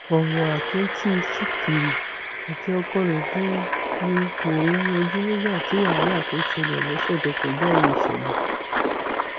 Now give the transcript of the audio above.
ọrọ àtúntí ṣìkìrì àti ọkọ ẹ ni ni mò ń yanjú nígbà tí wàhálà tó ṣẹlẹ lọsẹ tó kọjá yìí ṣẹlẹ